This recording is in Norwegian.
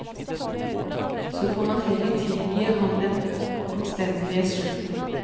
Så får man heller tilgi ham den omstendelige slutten.